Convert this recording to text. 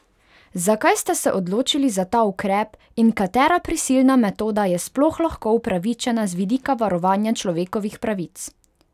Zakaj ste se odločili za ta ukrep in katera prisilna metoda je sploh lahko upravičena z vidika varovanja človekovih pravic?